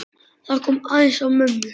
Það kom aðeins á mömmu.